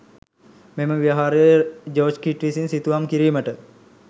මෙම විහාරයේ ජෝර්ජ් කීට් විසින් සිතුවම් කිරීමට